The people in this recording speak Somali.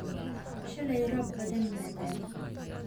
Shalay roob badan baa da'ay